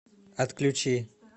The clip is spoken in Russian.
отключи